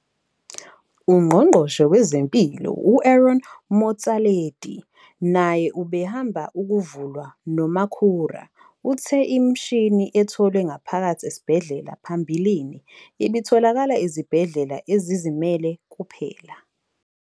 UNgqongqoshe Wezempilo u-Aaron Motsoaledi, naye obehambele ukuvulwa noMakhura, uthe imishini etholwe ngaphakathi esibhedlela phambilini ibitholakala ezibhedlela ezizimele kuphela.